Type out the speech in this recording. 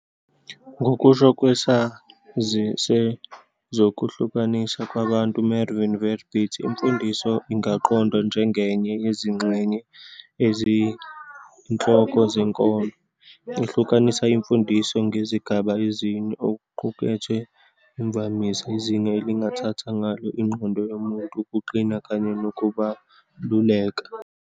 Ngokusho kwesazi sezokuhlalisana kwabantu uMervin Verbit, imfundiso ingaqondwa njengenye yezingxenye eziyinhloko zenkolo. Uhlukanisa imfundiso ngezigaba ezine- okuqukethwe, imvamisa, izinga elingathatha ngalo ingqondo yomuntu, ukuqina kanye nokubaluleka.